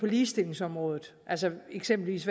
ligestillingsområdet eksempelvis